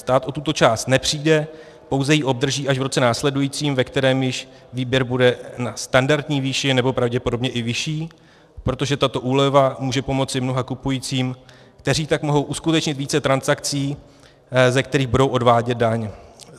Stát o tuto část nepřijde, pouze ji obdrží až v roce následujícím, ve kterém již výběr bude na standardní výši, nebo pravděpodobně i vyšší, protože tato úleva může pomoci mnoha kupujícím, kteří tak mohou uskutečnit více transakcí, ze kterých budou odvádět daň.